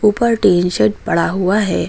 ऊपर टीन सेट पड़ा हुआ है।